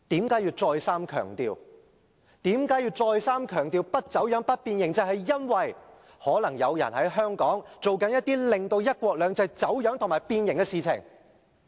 他為何要再三強調不走樣、不變形，就是因為可能有人在香港正在進行一些令"一國兩制"走樣和變形的事情。